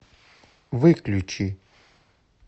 выключи